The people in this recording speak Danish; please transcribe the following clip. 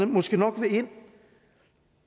måske nok vil ind